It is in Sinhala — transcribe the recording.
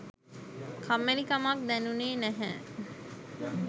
කම්මැලිකමක් දැනුනේ නැහැ